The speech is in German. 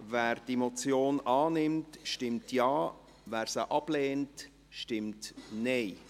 Wer diese Motion annimmt, stimmt Ja, wer diese ablehnt, stimmt Nein.